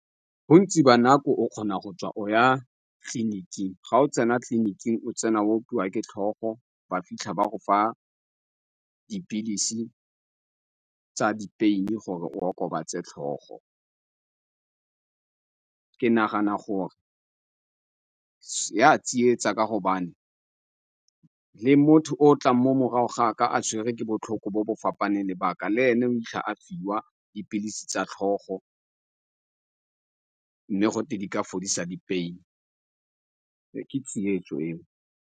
Bontsi ba nako o kgona go tswa o ya tleliniking. Ga o tsena tleliniking, o tsena opiwa ke tlhogo, ba fitlha ba go fa dipilisi tsa di-pain-e gore o okobatse tlhogo. Ke nagana gore ya tsietsa ka gobane le motho o tlang mo morago ga ka a tshwerwe ke botlhoko bo bo fapaneng le ba ka, le ene a fiwa dipilisi tsa tlhogo, mme gote di ka fodisa di-pain-e, ke tsietso eo.